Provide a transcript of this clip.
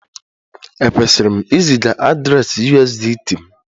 Ekwesịrị m iziga adreesị USDT m?